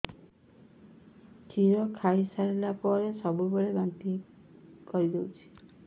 କ୍ଷୀର ଖାଇସାରିଲା ପରେ ସବୁବେଳେ ବାନ୍ତି କରିଦେଉଛି